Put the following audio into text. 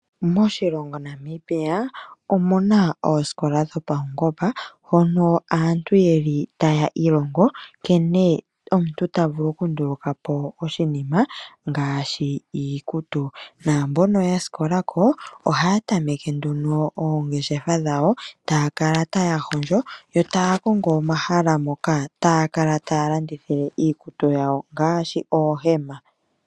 Moshilongo Namibia omuna oosikola dhopawungomba hoka aantu yeli taa ilongo nkene omuntu tavulu okunduluka po oshinima ngaashi iikutu. Namboka ya sikola ko ohaya tameke nduno oongeshefa dhawo etaya kala taya hondjo yo taya kongo omahala moka taya kala taya landithile iikutu yawo ngaashi oohema.